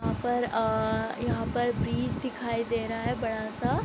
यहाँ पर अ अ यहाँ पर ब्रिज दिखाई दे रहा है बड़ा सा।